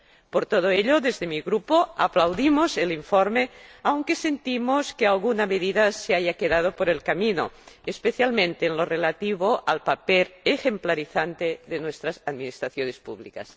Por todo ello, desde mi Grupo aplaudimos el informe, aunque sentimos que alguna medida se haya quedado por el camino, especialmente en lo relativo al papel ejemplarizante de nuestras administraciones públicas.